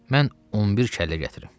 Mən 11 kəllə gətirəm.